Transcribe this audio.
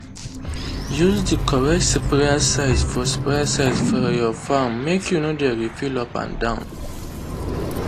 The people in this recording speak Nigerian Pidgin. use the correct sprayer size for sprayer size for your farm make you no dey refill up and down.